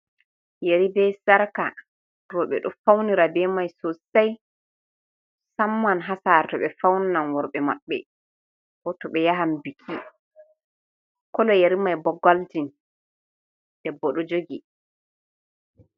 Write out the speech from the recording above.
Yari be k sarka roɓe dun faunira be mai sosai, musamman ha sare to ɓe fauninan worɓe maɓɓe, ko to ɓe yahan biki, kolo yari mai bo goldin debbo ɗo jogi.